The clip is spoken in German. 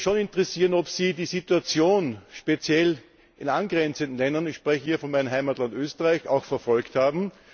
Mich würde es schon interessieren, ob Sie die Situation speziell in angrenzenden Ländern ich spreche hier von meinem Heimatland Österreich auch verfolgt haben.